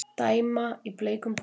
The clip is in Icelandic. Dæma í bleikum búningum